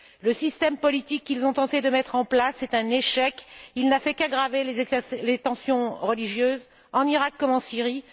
Le système politique qu'ils ont tenté de mettre en place est un échec, il n'a fait qu'aggraver les tensions religieuses en Iraq comme en Syrie.